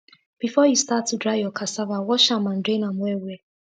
before u start to dry ur cassava wash am and drain am well well